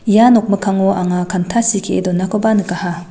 ia nokmikkango anga kanta sitee donakoba nikaha.